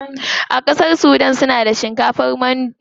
A ƙasar sudan suna da shinkafar mandi.